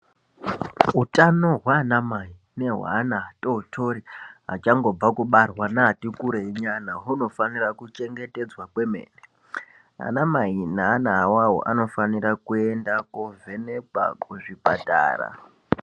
Utano hwaana mai nehweana atotori achangobva kubarwa neati kureyi nyana hwunofanira kuchengetedzwa kwemene anamai neana awawo anofanira kuenda kovhenekwa kuzvipatara.